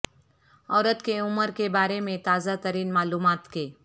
عورت کی عمر کے بارے میں تازہ ترین معلومات کے